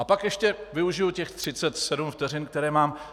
A pak ještě využiji těch 37 vteřin, které mám.